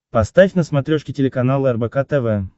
поставь на смотрешке телеканал рбк тв